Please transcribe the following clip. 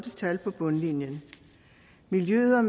så videre